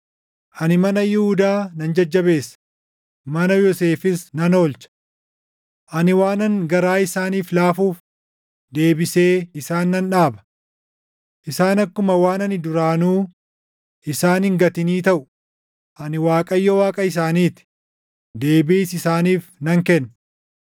“Ani mana Yihuudaa nan jajjabeessa; mana Yoosefis nan oolcha. Ani waanan garaa isaaniif laafuuf deebisee isaan nan dhaaba. Isaan akkuma waan ani duraanuu isaan hin gatinii taʼu; ani Waaqayyo Waaqa isaanii ti; deebiis isaaniif nan kenna.